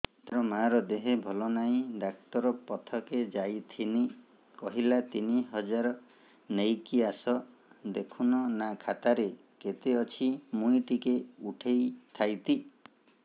ତାର ମାର ଦେହେ ଭଲ ନାଇଁ ଡାକ୍ତର ପଖକେ ଯାଈଥିନି କହିଲା ତିନ ହଜାର ନେଇକି ଆସ ଦେଖୁନ ନା ଖାତାରେ କେତେ ଅଛି ମୁଇଁ ଟିକେ ଉଠେଇ ଥାଇତି